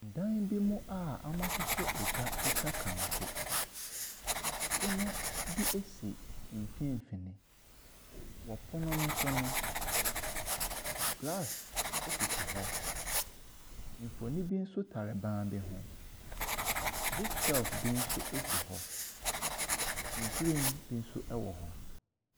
Dan bi mu a wɔahyehyɛ agua atwa kanko. Pono bi si mfimfini. Wɔ pono no so no, glass sisi hɔ. Mfonin bi nso tare ban bi ho. Book shelve bi nso si hɔ. Nhwirem bi nso wɔ hɔ.